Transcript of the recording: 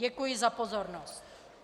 Děkuji za pozornost.